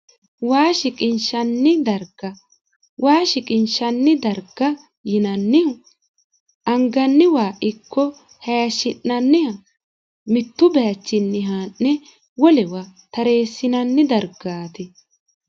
waa shiqinshanni darga waa shiqinshanni darga yinannihu anganni waa ikko hashshi'nanniha mittu baachinni haa'ne wolewa tareessinanni dargaati